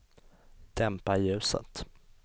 dämpa ljuset